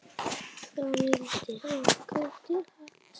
Það vildi okkur til happs.